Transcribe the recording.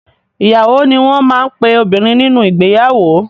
Ìyàwó ni wọ́n máa ń pe obìnrin nínú ìgbeyàwó.